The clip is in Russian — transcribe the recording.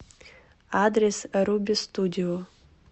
адрес рубе студио